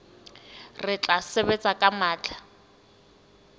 re tla sebetsa ka matla